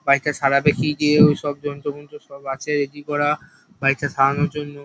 Bike -টা সারাবে কি দিয়ে ওইসব যন্ত্র-মন্ত্র সব আছে রেডি করা। বাইক -টা সারানোর জন্য।